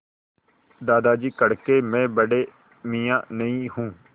दादाजी कड़के मैं बड़े मियाँ नहीं हूँ